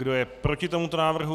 Kdo je proti tomuto návrhu?